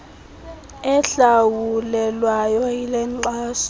ehlawulelwayo yile nkxaso